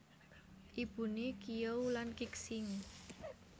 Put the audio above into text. Ibuné Qiyou lan Qixing